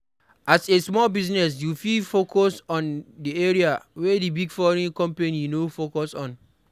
As a Small Business you fit focus on di area wey di big foreign company no focus on